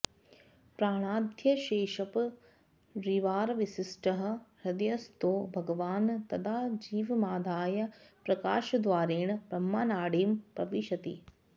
प्राणाद्यशेषपरिवारविशिष्टः हृदयस्थो भगवान् तदा जीवमादाय प्रकाशद्वारेण ब्रह्मनाडीं प्रविशति